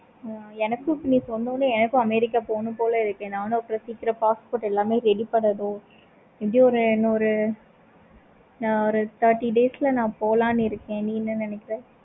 ஆஹ் எனக்கு இப்படி சொன்னோம்னே america போனும் போல இருக்கு. நானும் அவ்வளோ சீக்கிரம் passport எல்லாமே ready பண்ணனும். எப்படி ஒரு இன்னு ஒரு thirty days ல நா போலாம் இருக்கேன். நீ என்ன நினைக்கிற?